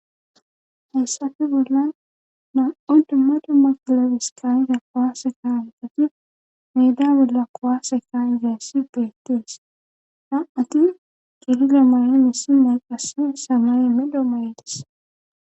haysape bollan naa7u dumma dumma klebes kaa7ida kuwaase kasanchati meeda bolla kuwaase kaa7izayssi beettes;na7ati cililo mayin issi nay qassi samaye medho mayides.